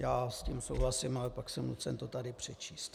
Já s tím souhlasím, ale pak jsem nucen to tady přečíst .